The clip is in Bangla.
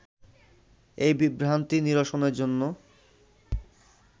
এই বিভ্রান্তি নিরসনের জন্য